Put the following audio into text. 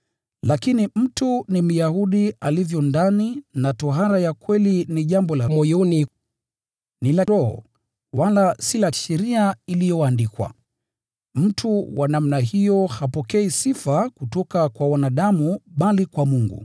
Lakini mtu ni Myahudi alivyo ndani, nayo tohara ya kweli ni jambo la moyoni, ni la Roho, wala si la sheria iliyoandikwa. Mtu wa namna hiyo hapokei sifa kutoka kwa wanadamu bali kwa Mungu.